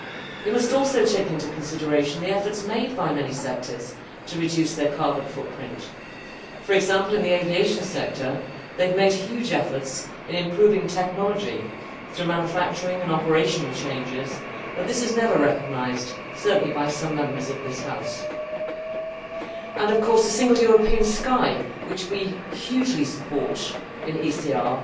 We must also take into consideration the efforts made by many sectors to reduce their carbon footprint. For example, in the aviation sector, huge efforts have been made to improve technology through manufacturing and operational changes, but this is never recognised certainly by some Members of this House and the Single European Sky, which we hugely support in ECR